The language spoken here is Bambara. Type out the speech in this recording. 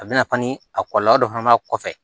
A bɛna ni a kɔlɔlɔ dɔ fana kɔfɛ